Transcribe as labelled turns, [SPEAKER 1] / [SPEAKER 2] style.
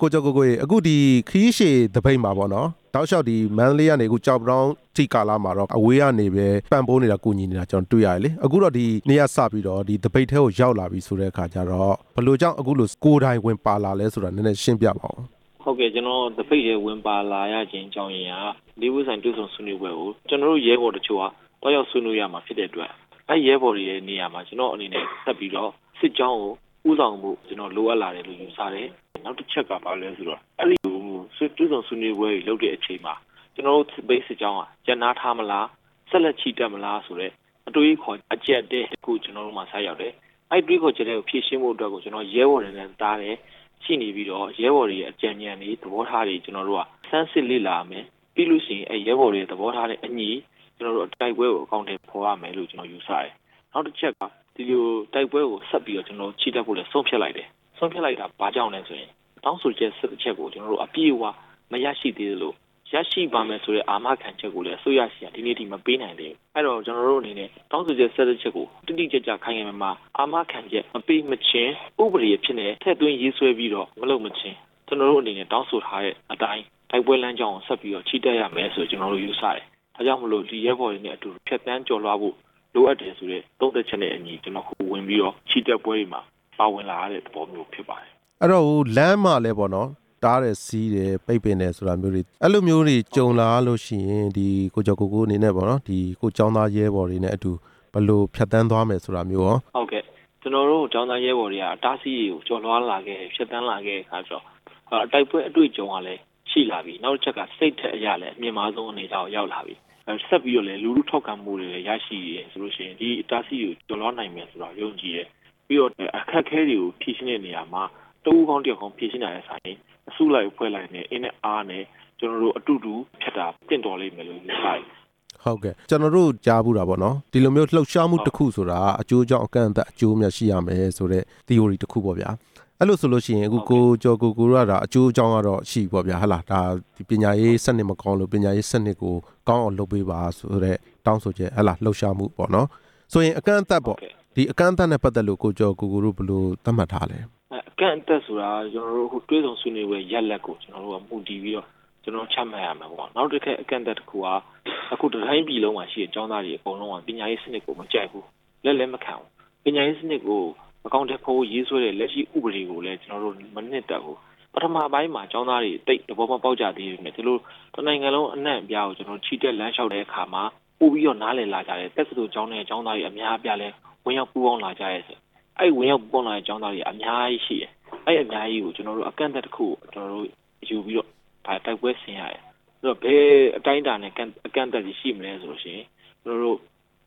[SPEAKER 1] ကိုကျော်ကိုကိုရေ အခုခရီးရှည်သပိတ်မှာပေါ့နော်၊ တောက်လျှောက် မန္တလေး ကနေ ကျောက်ပတောင်းအထိ ကာလတလျှောက်မှာတော့ အဝေးကနေပြီးတော့ပဲ ပံ့ပိုးနေတာ၊ ကူညီနေတာတွေ့ရ တယ်လေ၊ အခုတော့ ဒီနေ့ကစပြီးတော့ ဒီသပိတ်ထဲကို ရောက်လာတဲ့အခါကျတော့ ဘယ်လိုကြောင့်အခုလို ကိုယ်တိုင်ဝင်ပါလာလဲဆိုတာ နည်းနည်းလောက် ရှင်ပြပါနော်။
[SPEAKER 2] ဟုတ်ကဲ့ ကျနော် သပိတ်ထဲဝင်ပါလာရခြင်းအကြောင်းရင်းက ၄ ပွင့်ဆိုင်တွေ့ဆုံဆွေးနွေးရေးကို ကျနော်တို့ ရဲဘော်တချို့က သွားရောက်ဆွေးနွေးရမှာ ဖြစ်တဲ့အတွက် ကျနော့်ရဲဘော်တွေရဲ့နေရာမှာ ကျနော့်အနေနဲ့ ထပ်ပြီးတော့ စစ်ကြောင်းကိုဦးဆောင်ဖို့ ကျနော်လိုအပ်လာတယ်လို့ ယူဆတယ်၊ နောက်တချက်ကဘာလဲဆိုတော့ အဲ့ဒီလို တွေ့ဆုံဆွေးနွေးပွဲတွေလုပ်တဲ့အချိန်မှာ ကျနော်တို့ သပိတ်စစ်ကြောင်းက ရပ်နားထားမလား၊ ဆက်လက်ချီတက် မလားဆိုတဲ့ အတွေးအခေါ်အကျပ်အတည်းတစ်ခု ကျနော်တို့မှာစရောက်တယ်၊ အဲ့ဒီတွေးခေါ်ချက်တွေကို ဖြေရှင်းဖို့ အတွက်ကို ကျနော်ရဲဘော်တွေနဲ့တသားတည်း ရှိနေပြီးတော့ ရဲဘော်တွေရဲ့ အကြံဉာဏ်တွေ၊ သဘောထားတွေ ကျနော်တို့က ဆန်းစစ်လေ့လာရမယ်၊ ပြီးလို့ရှိရင် အဲ့ရဲဘော်တွေရဲ့ သဘောထားနဲ့အညီ ကျနော်တို့ တိုက်ပွဲကို အကောင်အထည် ဖော်ရမယ်လို့ ကျနော် ယူဆတယ်၊ နောက်တချက်က ဒီလိုတိုက်ပွဲကို ဆက်ပြီးတော့ချီတက်ဖို့လည်း ဆုံးဖြတ်လိုက်တယ်၊ ဆုံးဖြတ်လိုက်တာ ဘာကြောင့်လဲဆိုရင် တောင်းဆိုချက် ၁၁ ချက်ကို ကျနော်တို့ အပြည့်အဝမရ ရှိသေးလို့ ရရှိပါမယ်ဆိုတဲ့ အာမခံချက်ကို အစိုးရဆီက ဒီနေ့အထိ အာမခံမပေးနိုင်သေးဘူး၊ အဲ့ဒီတော့ ကျနော်တို့အနေ နဲ့ တောင်းဆိုချက် ၁၁ ချက်ကို တိတိကျကျခိုင်ခိုင်မာမာ အာမခံချက်မပေးမချင်း ဥပဒေအဖြစ်နဲ့ ထည့်သွင်းရေးဆွဲပြီးတော့ မလုပ်မချင်း ကျနော်တို့အနေနဲ့ တောင်းဆိုထားတဲ့အတိုင်း တိုက်ပွဲလမ်းကြောင်းကို ဆက်လက်ပြီးတော့ချီတက်ရမယ် ဆိုပြီးတော့ ကျနော်တို့ယူဆတယ်၊ ဒါကြောင့်မို့လို့ ရဲဘော်တွေနဲ့အတူတူ ဖြတ်သန်းကျော်လွှားဖို့ လိုအပ်တယ်ဆိုတဲ့ သုံသပ်ချက်နဲ့အညီ ကျနော်အခုဝင်ပြီးတော့ ချီတက်ပွဲတွေမှာ ပါဝင်လာရတဲ့ သဘောမျိုးဖြစ်ပါတယ်။
[SPEAKER 1] အဲ့ဒီတော့ လမ်းမှာလည်းပဲပေါ့နော် တားတယ် ဆီးတယ်၊ ပိတ်ပင်တယ်ဆိုတာမျိုးတွေ အဲ့လိုမျိုးတွေ ကြုံလာလို့ရှိရင် ကိုကျော်ကိုကို အနေနဲ့ပေါ့နော် ကျောင်းသားရဲဘောတွေနဲ့အတူ ဘယ်လိုဖြတ်သန်းသွား မယ်ဆိုတာ မျိုးရော။
[SPEAKER 2] ဟုတ်ကဲ့ ကျနော်တို့ ကျောင်းသားရဲဘော်တွေက အတားအဆီးတွေကို ကျော်လွှားလာခဲ့တယ် ၊ ဖြတ်သန်းလာခဲ့တယ်ဆိုတဲ့အခါတော့ တိုက်ပွဲအတွေ့အကြုံကလည်းရှိလာပြီ၊ နောက်တချက်က စိတ်ဓါတ်အရ လည်း မြင့်မားဆုံးအနေအထားကို ရောက်လာပြီ၊ ဆက်ပြီးတော့လည်း လူထုထောက်ခံမှုတွေ ရရှိတယ်ဆိုလိုရှိရင် ဒီအတားအဆီးတွေကို ကျော်လွှားနိုင်မယ်ဆိုတာ ယုံကြည်တယ်၊ ပြီးတော့ အခက်အခဲတွေကို ဖြေရှင်းတဲ့နေရာမှာ တစ်ဦးကောင်း၊ တစ်ယောက်ကောင်း ဖြေရှင်းတာထက်စာရင် အစုလိုက်အဖွဲ့လိုက် အင်နဲ့အားနဲ့ ကျနော်တို့အတူတူဖြတ် တာ သင့်တော်လိမ့်မယ်လို့ယူဆတယ်။
[SPEAKER 1] ဟုတ်ကဲ့ ကျနော်တို့ ကြားဖူးတာပေါ့နော် ဒီလိုမျိုးလှုပ်ရှားမှု တစ်ခုဆိုတာက အကျိုး အကြောင်းအကန့်အသတ် အကျိုးအမြတ်ရှိရမယ်ဆိုတဲ့ သီအိုရီတစ်ခုပေါ့ဗျာ၊ အဲ့လိုဆိုလို့ရှိရင် အခုကိုကျော်ကိုကိုတို့ ကတော့ ဒါအကျိုးအကြောင်းကတော့ ရှိပြီပေါ့ဗျာ၊ ဒါပညာရေးစနစ်မကောင်းလို့ ပညာရေးစနစ်ကို ကောင်းအောင် လုပ်ပေးပါ ဆိုတဲ့တောင်းဆိုချက် လှုပ်ရှားမှုပေါ့နော်၊ အကန့်အသတ်နဲ့ပတ်သက်လို့ ကိုကျော်ကိုကိုတို့ ဘယ်လိုသက်မှတ် ထားလဲ။
[SPEAKER 2] အကန့်အသတ်ဆိုတာ ကျနော်တို့ အခုတွေ့ဆုံဆွေးနွေးပွဲ ရလာဒ်ကို ကျနော်တို့က မူတည်ပြီးတော့ ကျနော်တို့ ချမှတ်ရမှာပေါ့၊ နောက်တချက် အကန့်အသတ်က အခုတတိုင်းပြည်လုံးမှာရှိတဲ့ ကျောင်းသားတွေ အကုန်လုံးက ပညာရေးစနစ်ကို မကြိုက်ဘူး၊ လက်လည်းမခံဘူး၊ ပညာရေးစနစ်ကို အကောင်အထည်ဖော်ဖို့ရေးဆွဲတဲ့ လက်ရှိဥပဒေကိုလည်း ကျနော်တို့မနှစ်သက်ဘူး၊ ပထမပိုင်းမှာ ကျောင်းသားတွေ သိပ်သဘောမပေါက်ကြသေးဘူး၊ ဒီလိုတစ်နိုင်ငံလုံး အနှံ့အပြားကို ကျနော်တို့ ချီတက်လမ်းလျှောက်တဲ့အခါမှာ ပိုပြီးတော့ နားလည်လာကြတယ်၊ တက္ကသိုလ်ကျောင်းထဲက ကျောင်းသားတွေအများအပြားလည်း ဝင်ရောက်ပူးပေါင်းလာကြတယ်၊ အဲ့ဒီဝင်ရောက်ပူးပေါင်း လာတဲ့ ကျောင်းသားတွေ အများကြီးရှိတယ်၊ အဲ့ဒီအများကြီးကို ကျနော်တို့ အကန့်အသတ်တစ်ခုကို ကျနော်တို့ယူ ပြီးတော့ တိုက်ပွဲဆင်ရတယ်၊ ဘယ်အတိုင်းအတာနဲ့ အကန့်အသတ်တွေရှိမလဲဆိုလို့ရှိရင် ကျနော်တို့